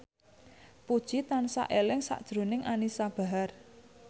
Puji tansah eling sakjroning Anisa Bahar